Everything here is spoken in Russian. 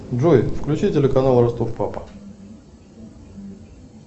джой включи телеканал ростов папа